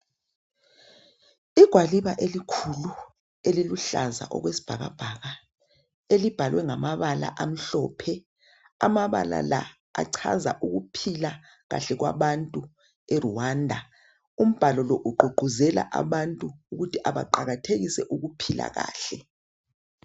Igwaliba elikhulu eliluhlaza okwesibhakabhaka elibhalwe ngamabala amhlophe. Amabala la achaza ukuphila kahle kwabantu eRwanda. Umbhalo lo ugqugquzela abantu ukuthi abaqakathekise ukuphila kahle.